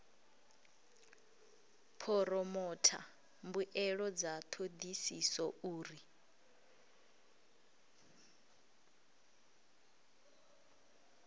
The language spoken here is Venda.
phoromotha mbuelo dza thodisiso uri